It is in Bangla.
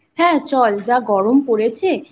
হ্যাঁ চল যা গরম পড়েছে